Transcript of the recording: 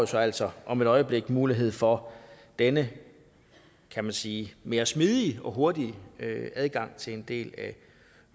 så altså om et øjeblik mulighed for denne kan man sige mere smidige og hurtige adgang til en del af